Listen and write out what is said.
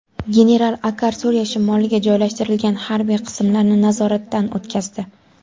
General Akar Suriya shimoliga joylashtirilgan harbiy qismlarni nazoratdan o‘tkazdi.